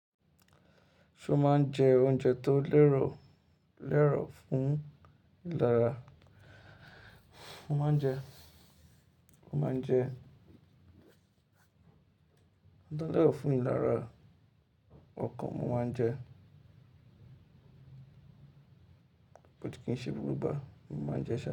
Ṣo máa ń jẹ oúnjẹ tó lẹ́rọ̀ lẹ́rọ̀ fún ìlara? Mo máa ń jẹ. Mo máa ń jẹ. Ntó lẹ́rọ̀ fún ìlara ọkàn mo máa ń jẹ. But kìí ṣé gbogbo ìgbà ni mo máa n jẹ sá.